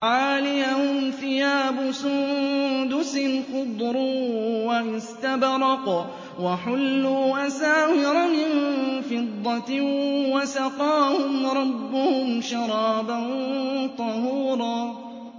عَالِيَهُمْ ثِيَابُ سُندُسٍ خُضْرٌ وَإِسْتَبْرَقٌ ۖ وَحُلُّوا أَسَاوِرَ مِن فِضَّةٍ وَسَقَاهُمْ رَبُّهُمْ شَرَابًا طَهُورًا